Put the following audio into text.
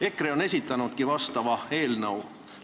EKRE on esitanudki vastava eelnõu.